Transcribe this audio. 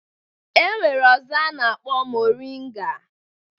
E nwere ọzọ a na-akpọ moringa.